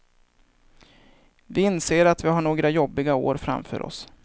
Vi inser att vi har några jobbiga år framför oss.